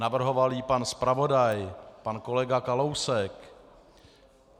Navrhoval ji pan zpravodaj, pan kolega Kalousek.